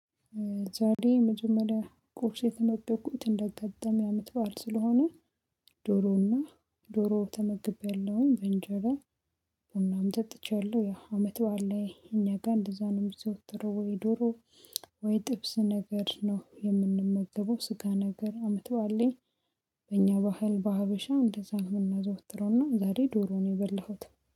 ዛሬ መጀመሪያ ኮርስ የተመገብኩት እንደገጠም ያመጣዋል ስለሆነ ዶሮውና ዶሮው ተመግቤያለሁ በእንጀራ ቡናም ጠጥቻለሁ። ያ አመት በዓል እኛ ጋር እንደዛ ነው የምትወጥረው ወይ ዶሮ ወይ ጥብስ ነገር ነው የምንመግበው። ስጋ ነገር አመት በዓል ላይ በእኛ ባህል በሀበሻ እንደዛ ነው የምናዘወትረው። እና ዛሬ ዶሮ ነው የበላሁት